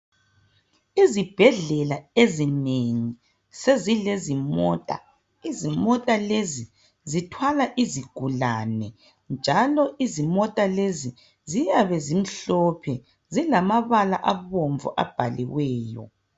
Izibhedlela ezinengi, sezilezimota, izimota lezi zithwala izigulani, njalo izimota lezi ziyabe zimhlophe zilamabala abomvu abhaliweyo.